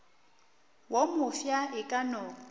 wo mofsa e ka no